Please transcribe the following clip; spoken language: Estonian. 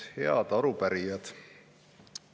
Head arupärijad!